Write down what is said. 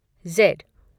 Z